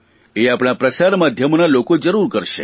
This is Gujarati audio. એ આપણાં પ્રસારમાધ્યમોના લોકો જરૂર કરશે